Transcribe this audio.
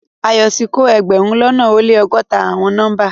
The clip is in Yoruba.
Ayo ti ko egberun lona o le ọgọta awọn nọmba